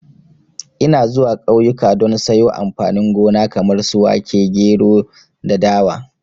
Ina zuwa kauyuka don sayo amfani gona kamar su wake, gero da dawa